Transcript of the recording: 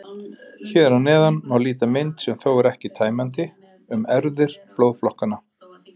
Hér að neðan má líta mynd, sem þó er ekki tæmandi, um erfðir blóðflokkanna.